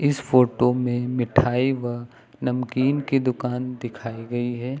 इस फोटो में मिठाई व नमकीन की दुकान दिखाई गई है।